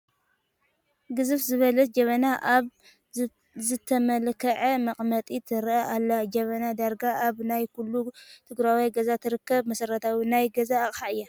ግዝፍ ዝበለት ጀበና ኣብ ዝተመላከዐ መቐመጢ ትርአ ኣላ፡፡ ጀበና ዳርጋ ኣብ ናይ ኩሉ ትግራዋይ ገዛ ትርከብ መሰረታዊ ናይ ገዛ ኣቕሓ እያ፡፡